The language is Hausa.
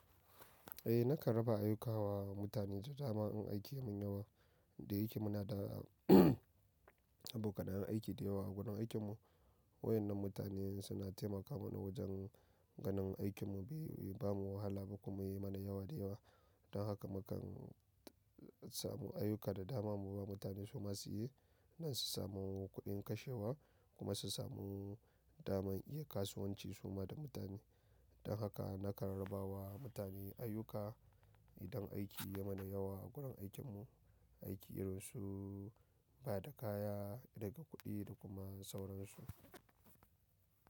Eh, na kanraba ayyuka wa mutane ta daman in aikin yamun yawa. Da yake mu na da abokanayen aikin da yawa a gurin aikin mu. Wayan nan mutanen suna taimaka mana wajen ganin aikin mu bai yi bamun wahala ba kuma yayi mana yawa da yawa. Don haka mukan samu ayyuka da dama mu ba mutane su ma su yi. Nan su samu kuɗin kashewa kuma su samu dama iya kasuwanci su ma da mutane. Don haka na kanraba wa mutane ayyuka idan aiki ya mana yawa a gurin aikin mu. Aiki irin su bada kaya, riƙa kuɗi da kuma sauransu.